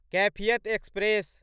Kaifiyat express